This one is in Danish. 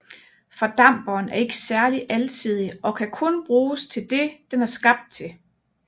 Fordamperen er ikke særlig alsidig og kan kun bruges til det den er skabt til